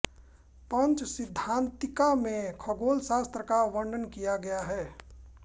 पंचसिद्धान्तिका में खगोल शास्त्र का वर्णन किया गया है